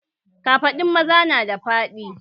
Kafaɗun maza nada faɗi